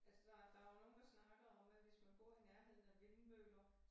Altså der der jo nogle der snakker om at hvis man bor i nærheden af vindmøller